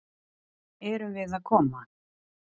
Erum við að koma?